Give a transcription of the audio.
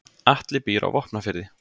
Atli býr á Vopnafirði.